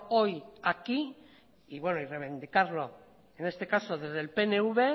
hoy aquí y bueno reivindicarlo en este caso desde el pnv